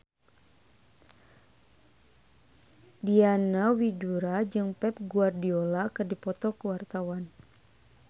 Diana Widoera jeung Pep Guardiola keur dipoto ku wartawan